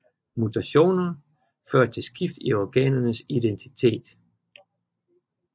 Mutationer fører til skift i organernes identitet